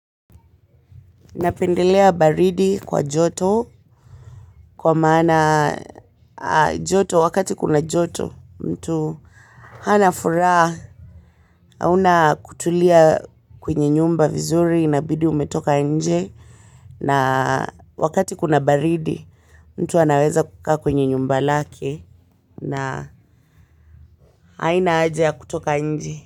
Napendelea baridi kwa joto kwa maana joto wakati kuna joto mtu hana furaha hauna kutulia kwenye nyumba vizuri inabidi umetoka nje na wakati kuna baridi mtu anaweza kukaa kwenye nyumba lake na haina haja ya kutoka nje.